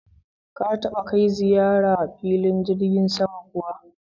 Ka taba kai ziyara filin jirgin sama kuwa?